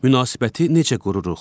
Münasibəti necə qururuq?